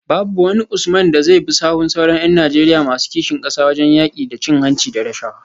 Babu wani Usman da zai bi sahun sauran ’yan Najeriya masu kishin kasa wajen yaki da cin hanci da rashawa